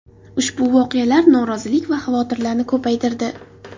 Ushbu voqealar norozilik va xavotirlarni ko‘paytirdi.